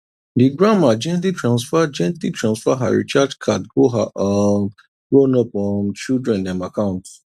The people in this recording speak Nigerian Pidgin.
the grandma gently transfer gently transfer her recharge card go her um grownup um children dem account